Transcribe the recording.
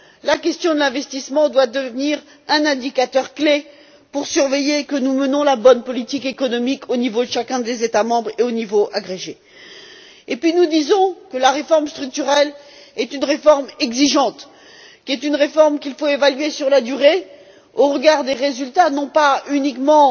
La question de l'investissement doit devenir un indicateur clé pour nous assurer que nous menons la bonne politique économique au niveau de chacun des États membres et au niveau agrégé. Nous disons que la réforme structurelle est une réforme exigeante, qui doit être évaluée sur la durée au regard des résultats, non seulement